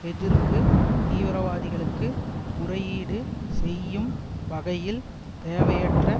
எதிர்ப்பு தீவிரவாதிகளுக்கு முறையீடு செய்யும் வகையில் தேவையற்ற